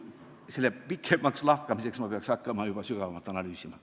Selle pikemaks lahkamiseks peaks ma hakkama juba sügavamalt analüüsima.